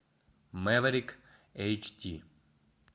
мэверик эйч ди